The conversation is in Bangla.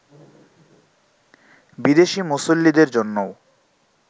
বিদেশি মুসল্লিদের জন্যও